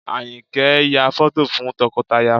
Àyìnkẹ́ ń yà fọ́tò fún tọkọtaya